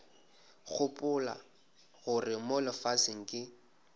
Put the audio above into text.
gopola gore mo lefaseng ke